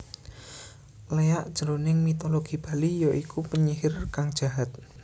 Léak jroning mitologi Bali ya iku penyihir kang jahat